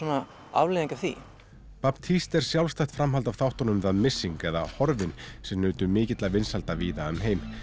afleiðing af því baptiste er sjálfstætt framhald af þáttunum missing eða horfinn sem nutu mikilla vinsælda víða um heim